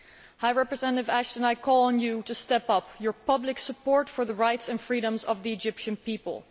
High Representative Ashton, I call on you to step up your public support for the rights and freedoms of the Egyptian people.